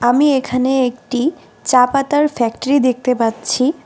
আমি এখানে একটি চা পাতার ফ্যাক্টরি দেখতে পাচ্ছি।